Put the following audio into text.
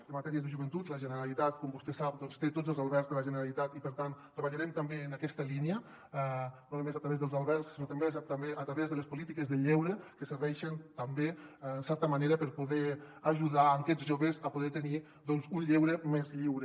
en matèries de joventut la generalitat com vostè sap té tots els albergs de la generalitat i per tant treballarem també en aquesta línia no només a través dels albergs sinó també a través de les polítiques del lleure que serveixen també en certa manera per poder ajudar aquests joves a poder tenir un lleure més lliure